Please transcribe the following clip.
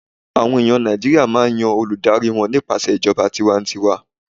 àwọn eyan Naijiria ma n Yan Olùdarí wan nípasẹ ìjọba tiwantiwa n